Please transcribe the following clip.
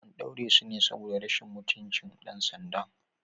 An ɗaure su ne saboda sun ci mutunci dan sanda.